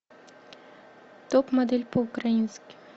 топ модель по украински